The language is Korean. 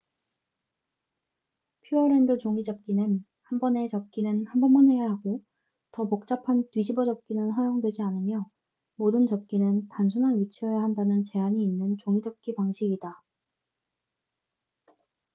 퓨어랜드 종이접기는 한 번에 접기는 한 번만 해야 하고 더 복잡한 뒤집어 접기는 허용되지 않으며 모든 접기는 단순한 위치여야 한다는 제한이 있는 종이접기 방식이다